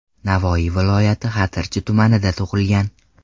Navoiy viloyati Xatirchi tumanida tug‘ilgan.